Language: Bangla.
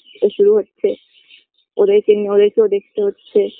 এই শুরু হচ্ছে ওদেরকে নিয়ে ওদের কেউ দেখতে হচ্ছে